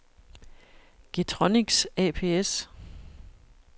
Getronics ApS